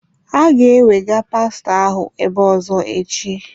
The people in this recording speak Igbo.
Ha ga-ẹwega pastọ ahụ ebe ọ̀zọ́ echi.